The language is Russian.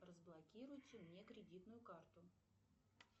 разблокируйте мне кредитную карту